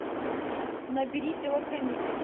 набери телохранитель